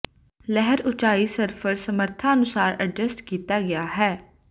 ਲਹਿਰ ਉਚਾਈ ਸਰਫ਼ਰ ਸਮਰੱਥਾ ਅਨੁਸਾਰ ਐਡਜਸਟ ਕੀਤਾ ਗਿਆ ਹੈ